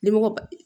Nimɔgɔ